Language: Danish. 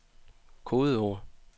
kodeord